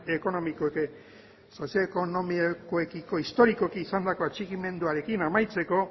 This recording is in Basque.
ekonomikoekiko historikoki izandako txikimenduarekin amaitzeko